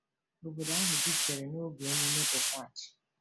Obodo ahụ jupụtara n’oge ememme Pesach.